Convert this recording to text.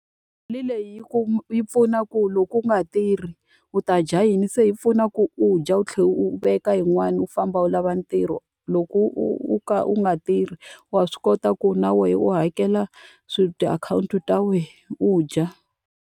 Mali leyi yi yi pfuna ku loko u nga tirhi u ta dya yini, se yi pfuna ku u dya u tlhela u veka yin'wani, u famba u lava ntirho. Loko u u ka u nga tirhi wa swi kota ku na wena u hakela swilo, tiakhawunti ta wena, u dya.